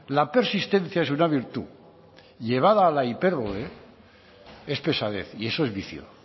la persistencia es una virtud llevada a la hipérbole es pesadez y eso es vicio